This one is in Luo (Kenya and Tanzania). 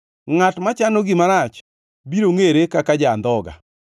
Ngʼat machano gima rach biro ngʼere kaka ja-andhoga.